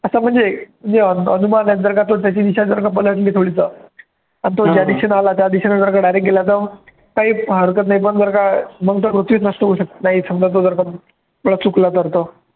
आता म्हणजे जे अन अनुभव आले जर का तो त्याची दिशा जर का पलटली थोडीफार आणि तो ज्या दिशेने आला त्या दिशेने जर का direct गेला तर काही हरकत नाही, पण जर का मग तो पृथ्वी नष्ट होऊ नाही जर का थोडा चुकला तर तो